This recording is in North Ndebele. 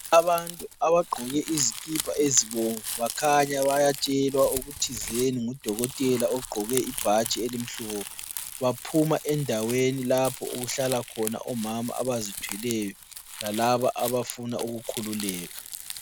Abantu abagqoke izikipa ezibomvu bakhanya bayatshelwa okuthizeni ngudokotela ogqoke ibhatshi eli mhlophe. Baphuma endaweni lapho okuhlala khona omama abazithweleyo, lalabo abafuna ukukhululeka.